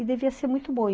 E devia ser muito bom.